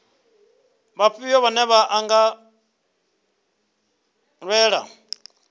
vhafhio vhane vha nga lwela